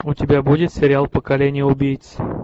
у тебя будет сериал поколение убийц